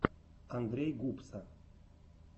андрей гупса